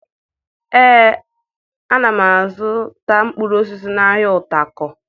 Ee, ana m azụta mkpụrụ osisi n'ahịa Utako